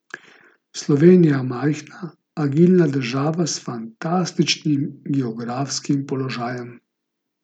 Slovenija je majhna, agilna država s fantastičnim geografskim položajem.